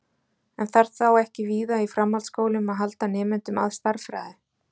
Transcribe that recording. En þarf þá ekki víða í framhaldsskólum að halda nemendum að stærðfræði?